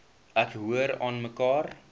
ek hoor aanmekaar